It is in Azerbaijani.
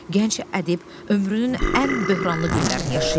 Gənc ədib ömrünün ən böhranlı günlərini yaşayır.